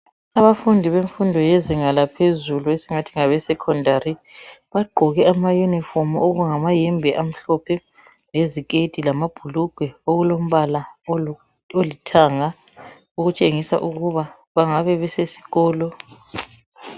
Abafundii bezinga laphezulu, esingathi ngabesecondary. Bagqoke amayuniifomu. Okungamayembe amhlophe, leziketi lamabhurugwe. Okulombala, olithanga. Okutshengisa ukuba bangabe besesikolo.